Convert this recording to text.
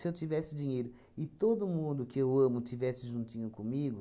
eu tivesse dinheiro e todo mundo que eu amo estivesse juntinho comigo,